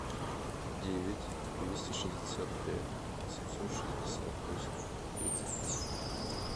девять двести шестьдесят пять восемьсот шестьдесят восемь тридцать десять